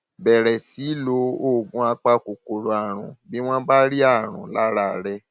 bẹrẹ sí í lo oògùn apakòkòrò àrùn bí wọn bá rí àrùn lára rẹ